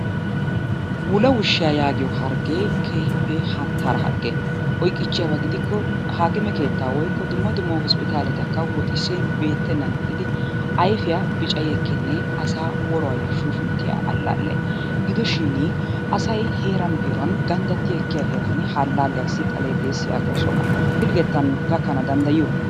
Wulawushshiya yaagiyo harggee keehippe hannttaara hargge oykkiichchiyaba gidikko haakime keetta woykko dumma dumma hosppitaaletakka woxissin beettennan ixxidi ayfiya bicayi ekkinne asaa woruwayyo shuushunttiya allaalle. Gidoshin asayi heeran heeran ganddatti ekkiya heeran ha allaalliyassi xalee de'es yaagoosona. Pilggettan gakkana danddayiyo?